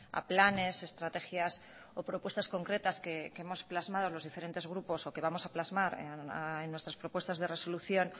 a planes estrategias o propuestas concretas que hemos plasmado los diferentes grupos o que vamos a plasmar en nuestras propuestas de resolución